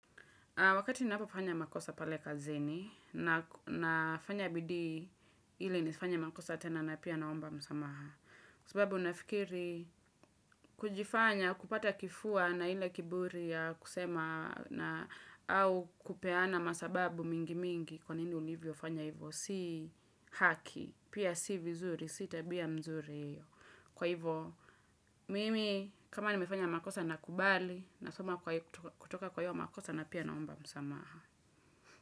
Wakati ninapofanya makosa pale kazini, nafanya bidii ili nisifanye makosa tena na pia naomba msamaha. Kwa sababu nafikiri kujifanya kupata kifua na ile kiburi ya kusema na au kupeana masababu mingi mingi kwa nini ulivyo fanya hivyo. Si haki, pia si vizuri, si tabia mzuri. Kwa hivyo, mimi kama nimefanya makosa nakubali, nasoma kutoka kwa hiyo makosa na pia naomba msamaha.